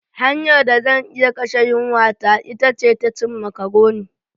Hanyar da zan iya kashe yunwata ita ce ta cin macaroni.